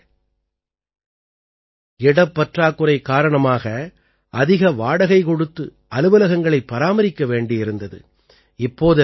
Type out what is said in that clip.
முன்பு இடப் பற்றாக்குறை காரணமாக அதிக வாடகை கொடுத்து அலுவலகங்களைப் பராமரிக்க வேண்டியிருந்தது